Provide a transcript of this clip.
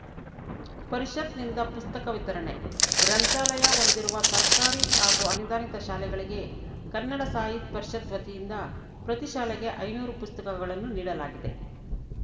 ಪರಿಷತ್‌ನಿಂದ ಪುಸ್ತಕ ವಿತರಣೆ ಗ್ರಂಥಾಲಯ ಹೊಂದಿರುವ ಸರ್ಕಾರಿ ಹಾಗೂ ಅನುದಾನಿತ ಶಾಲೆಗಳಿಗೆ ಕನ್ನಡ ಸಾಹಿತ್ಯ ಪರಿಷತ್‌ ವತಿಯಿಂದ ಪ್ರತಿ ಶಾಲೆಗೆ ಐನೂರು ಪುಸ್ತಕಗಳನ್ನು ನೀಡಲಾಗಿದೆ